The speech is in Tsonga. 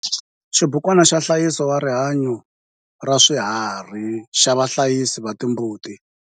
Xibukwana xa nhlayiseko wa rihanyo ra swiharhi xa vahlayisi va timbuti.